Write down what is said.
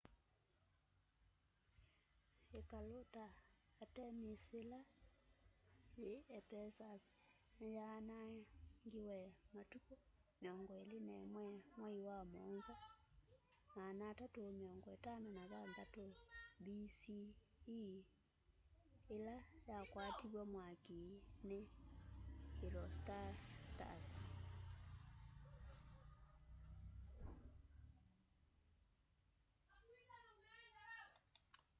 ikalu ta artemis yila yi ephesus ni yaanangiwa matuku 21 mwai wa muonza 356 bce ila yakwatiwe mwaki ni herostratus